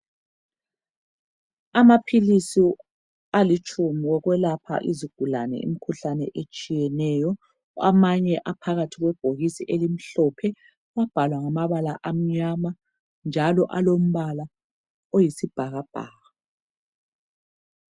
Amaphilisi alitshumi okwelapha izigulane imikhuhlane etshiyeneyo. Amanye aphakathi kwebhokisi elimhlophe. Kwabhalwa ngamabala amnyama, njalo alombala oyisibhakabhaka.